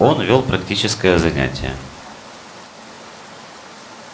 он вёл практическое занятие